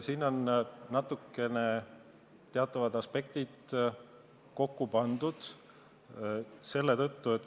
Siin on natukene erinevad aspektid kokku pandud.